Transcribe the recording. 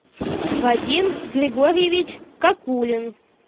вадим григорьевич какулин